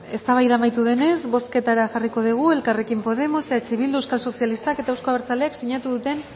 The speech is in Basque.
bueno ba eztabaida amaitu denez bozketara jarriko dugu elkarrekin podemos eh bildu euskal sozialistak eta eusko abertzaleak sinatu duten